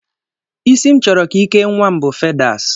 Isi m chọrọ ka i kee nnwa m bụ fedas